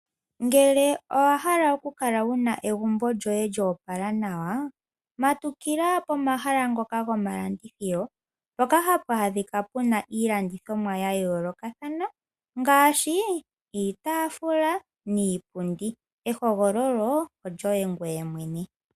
Ngele owahala okukala wuna egumbo lyoye lyo opala nawa, matukila pomahala ngoka gomalandithilo mpoka hapu adhika iilandithomwa yayoolokathana ngaashi iitafula niipundi. Ehogololo olyoye mwene .